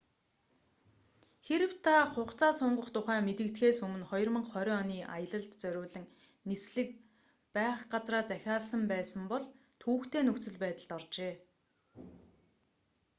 хэрэв та хугацаа сунгах тухай мэдэгдэхээс өмнө 2020 оны аялалд зориулан нислэг байх газраа захиалсан байсан бол түвэгтэй нөхцөл байдалд оржээ